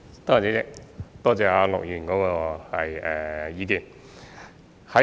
主席，多謝陸議員的意見。